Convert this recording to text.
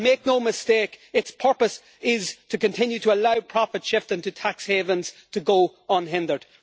And make no mistake, its purpose is to continue to allow profit shifting to tax havens to go unhindered.